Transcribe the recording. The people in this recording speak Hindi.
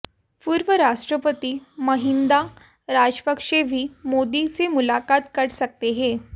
पूर्व राष्ट्रपति महिंदा राजपक्षे भी मोदी से मुलाकात कर सकते हैं